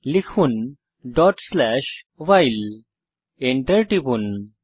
লিখুন while Enter টিপুন